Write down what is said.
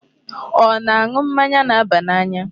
Ọ na-aṅụ mmanya na-aba n'anya?